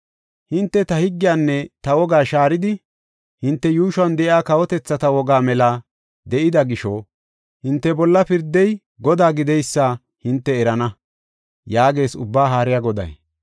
Hinte ta higgiyanne ta wogaa shaaridi hinte yuushuwan de7iya kawotethata wogaa mela de7ida gisho hinte bolla pirdey Godaa gideysa hinte erana” yaagees Ubbaa Haariya Goday.